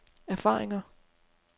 erfaringer